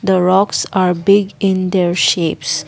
Rocks are big in their shapes.